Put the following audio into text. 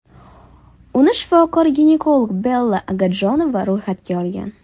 Uni shifokor-ginekolog Bella Agadjonova ro‘yxatga olgan.